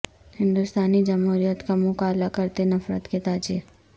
ہندوستانی جمہوریت کا منہ کالا کرتے نفرت کے تاجر